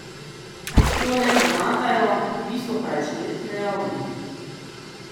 Te le pomagajo, bistvo pa je človeški dejavnik.